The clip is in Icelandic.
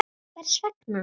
Hvers vegna?.